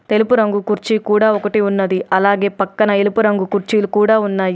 తెలుపు రంగు కుర్చీ కూడా ఒకటి ఉన్నది అలాగే పక్కన ఎలుపు రంగు కుర్చీలు కూడా ఉన్నాయి.